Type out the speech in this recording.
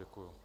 Děkuji.